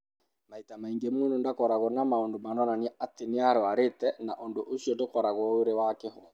Maita maingĩ, mũndũ ndakoragwo na maũndũ maronania atĩ nĩ arũarĩte, na ũndũ ũcio ndũkoragwo ũrĩ wa kĩhooto.